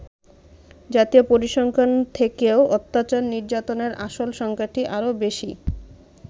জাতীয় পরিসংখ্যানের থেকেও অত্যাচার-নির্যাতনের আসল সংখ্যাটা আরও বেশী।